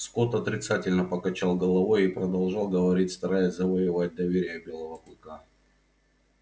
скотт отрицательно покачал головой и продолжал говорить стараясь завоевать доверие белого клыка